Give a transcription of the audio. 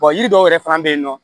yiri dɔw yɛrɛ fana bɛ yen nɔ